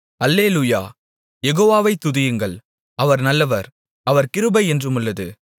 அல்லேலூயா யெகோவாவை துதியுங்கள் அவர் நல்லவர் அவர் கிருபை என்றுமுள்ளது